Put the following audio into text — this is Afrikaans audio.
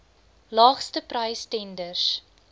laagste prys tenders